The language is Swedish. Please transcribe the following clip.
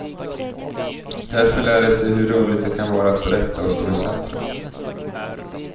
Därför lär de sig hur roligt det kan vara att berätta och stå i centrum.